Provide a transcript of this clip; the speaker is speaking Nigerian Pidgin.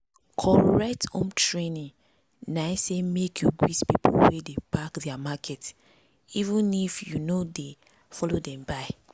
correct home training na say make you greet people wey dey pack their market even if you no dey follow dem buy.